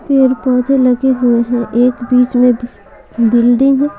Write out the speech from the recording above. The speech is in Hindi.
पेड-पौधे लगे हुए हैं एक बीच में बिल्डिंग --